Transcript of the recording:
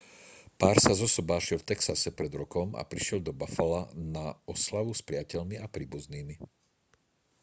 pár sa zosobášil v texase pred rokom a prišiel do buffala na oslavu s priateľmi a príbuznými